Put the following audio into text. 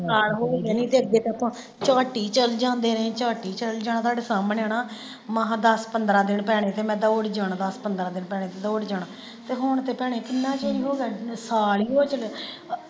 ਅੱਗੇ ਤੇ ਆਪਾਂ ਝੱਟ ਹੀ ਚਲ ਜਾਂਦੇ ਰਹੇ ਝੱਟ ਹੀ ਚਲ ਜਾਣਾ ਤਾਡੇ ਸਾਹਮਣੇ ਹੈਨਾ, ਮਹਾ ਦੱਸ ਪੰਦਰਾਂ ਦਿਨ ਪੈਣੇ ਤੇ ਮੈਂ ਦੌੜ ਜਾਣਾ ਦੱਸ ਪੰਦਰਾਂ ਦਿਨ ਪੈਣੇ ਤੇ ਦੌੜ ਜਾਣਾ ਤੇ ਹੁਣ ਤੇ ਭੈਣੇ ਕਿੰਨਾ ਚਿਰ ਹੀ ਹੋਗਿਆ ਸਾਲ ਹੀ ਹੋ ਚੱਲਿਆ।